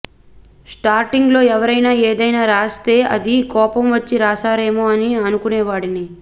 స్టార్టింగ్లో ఎవరైనా ఏదైనా రాస్తే అది కోపం వచ్చి రాశారేమో అని అనుకునేవాడిని